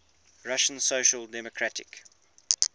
russian social democratic